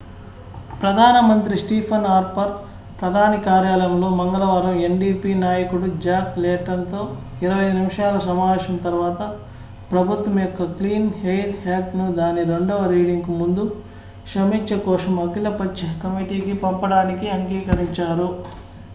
ప్రధానమంత్రి Stephen Harper ప్రధాని కార్యాలయంలో మంగళవారం ndp నాయకుడు జాక్ లేటన్ తో 25 నిమిషాల సమావేశం తర్వాత ప్రభుత్వం యొక్క క్లీన్ ఎయిర్ యాక్ట్'ను దాని రెండవ రీడింగ్ కు ముందు సమీక్ష కోసం అఖిల పక్ష కమిటీకి పంపడానికి అంగీకరించారు